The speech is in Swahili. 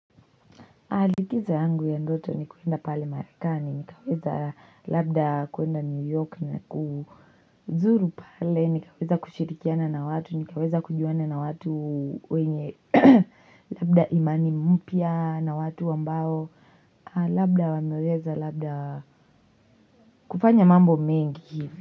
Likizo yangu ya ndoto ni kwenda pale marekani nikifika labda kwenda new york na kuzuru pale nikaweza kushirikiana na watu nikaweza kujuana na watu wenye labda imani mpya na watu ambao labda wameweza labda kufanya mambo mengi hivi.